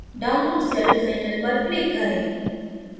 download celldesigner पर click करें